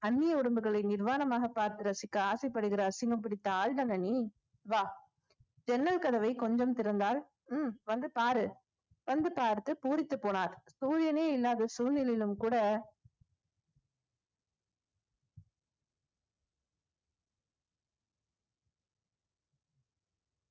அந்நிய உறும்புகளை நிர்வாணமாக பார்த்து ரசிக்க ஆசைப்படுகிற அசிங்கம் பிடித்த ஆள்தானே நீ வா ஜன்னல் கதவை கொஞ்சம் திறந்தால் உம் வந்து பாரு வந்து பார்த்து பூரித்துப் போனார் சூரியனே இல்லாத சூழ்நிலையிலும் கூட